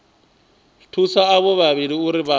thusa avho vhavhili uri vha